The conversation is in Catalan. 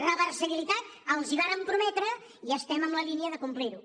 reversibilitat els ho vàrem prometre i estem en la lí·nia de complir·ho